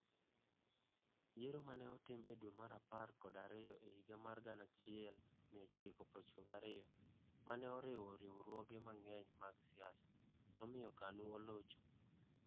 Yiero ma ne otim e dwe mar apar kod ariyo e higa mar 1992 ma ne oriwo riwruoge mang'eny mag siasa, nomiyo KANU olocho.